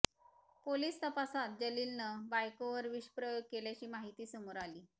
police तपासात जलीलनं बायकोवर विषप्रयोग केल्याची माहिती समोर आली